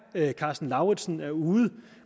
karsten lauritzen er ude